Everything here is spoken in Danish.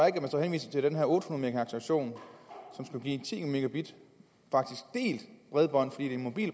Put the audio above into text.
ikke at man så henviser til den her otte hundrede megahertz version som skulle give ti megabit bredbånd